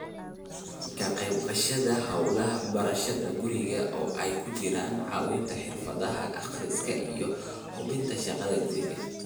Ka qayb qaadashada hawlaha barashada guriga, oo ay ku jiraan caawinta xirfadaha akhriska iyo hubinta shaqada guriga.